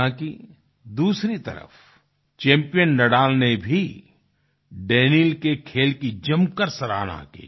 हालांकि दूसरी तरफ चैम्पियन नादल ने भी दानील के खेल की जमकर सराहना की